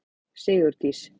Sigurdís